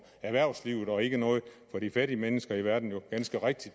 erhvervslivet og ikke noget for de fattige mennesker i verden jo ganske rigtig